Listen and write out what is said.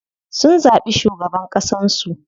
Sun zaɓi shugaban ƙasan su.